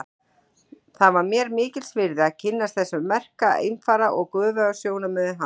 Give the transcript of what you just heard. Það var mér mikils virði að kynnast þessum merka einfara og göfugum sjónarmiðum hans.